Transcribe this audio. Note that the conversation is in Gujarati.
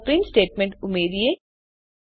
ચાલો પ્રિન્ટ સ્ટેટમેન્ટ ઉમેરીએ